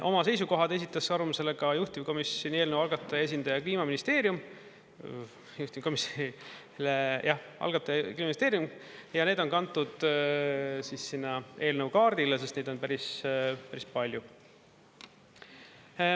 Oma seisukohad esitas arvamusele ka juhtivkomisjonile eelnõu algataja esindaja Kliimaministeerium, juhtivkomisjonile, jah, algataja Kliimaministeerium, ja need on kantud sinna eelnõu kaardile, sest neid on päris-päris palju.